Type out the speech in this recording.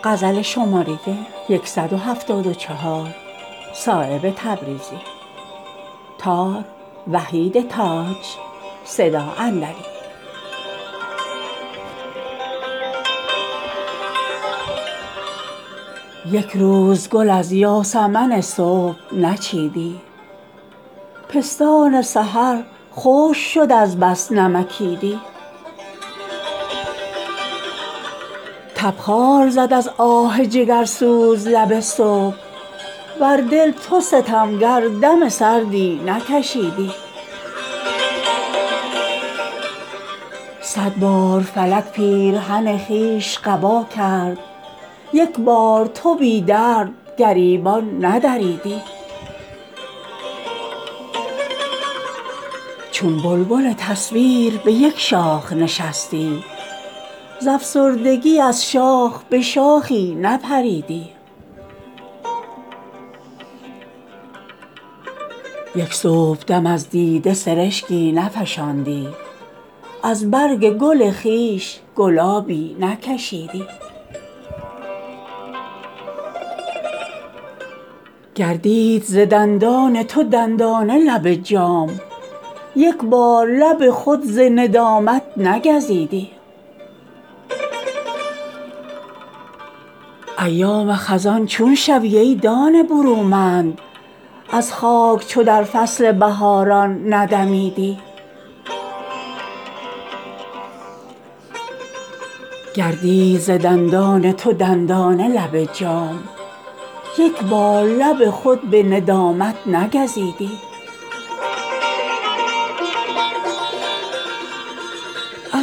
یک روز گل از یاسمن صبح نچیدی پستان سحر خشک شد از بس نمکیدی تبخال زد از آه جگرسوز لب صبح وز دل تو ستمگر دم سردی نکشیدی صد بار فلک پیرهن خویش قبا کرد یک بار تو بی درد گریبان ندریدی چون بلبل تصویر به یک شاخ نشستی زافسردگی از شاخ به شاخی نپریدی از جذبه آهن شرر از سنگ برآمد از مستی غفلت تو گرانجان نرهیدی این لنگر تمکین تو چون صورت دیوار زان است که از غیب ندایی نشنیدی یک صبحدم از دیده سرشکی نفشاندی از برگ گل خویش گلابی نکشیدی چون صورت دیوار درین خانه شدی محو دنباله یوسف چو زلیخا ندویدی گردید ز دندان تو دندانه لب جام یک بار لب خود ز ندامت نگزیدی زان سنگدل و بی مزه چون میوه خامی کز عشق به خورشید قیامت نرسیدی ایام خزان چون شوی ای دانه برومند از خاک چو در فصل بهاران ندمیدی نگذشته ز آتش نخورد آب خردمند تو در پی سامان کبابی و نبیدی در پختن سودا شب و روز تو سر آمد زین دیگ به جز زهر ندامت چه چشیدی پیوسته چراگاه تو از چون و چرا بود از گلشن بی چون و چرا رنگ ندیدی از زنگ قساوت دل خود را نزدودی جز سبزه بیگانه ازین باغ نچیدی از بار تواضع قد افلاک دوتا ماند وز کبر تو یک ره چو مه نو نخمیدی